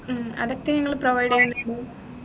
ഉം അതൊക്കെ ഞങ്ങൾ provide ചെയ്യൂ